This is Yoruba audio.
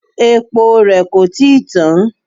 Epo rẹ kò tí ì tán.